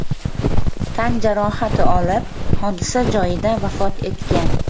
tan jarohati olib, hodisa joyida vafot etgan.